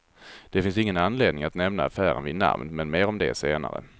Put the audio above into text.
Det finns ingen anledning att nämna affären vid namn, men mer om det senare.